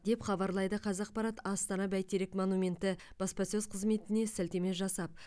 деп хабарлайды қазақпарат астана бәйтерек монументі баспасөз қызметіне сілтеме жасап